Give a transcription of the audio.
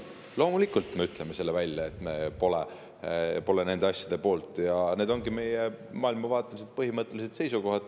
Loomulikult me ütleme välja, et me pole nende asjade poolt, ja need ongi meie maailmavaatelised põhimõtted ja seisukohad.